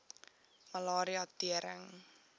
malaria tering